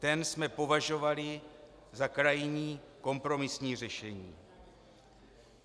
Ten jsme považovali za krajní kompromisní řešení.